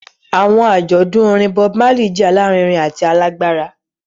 Awọn ajọdun orin Bob Marley jẹ alarinrin ati alagbara.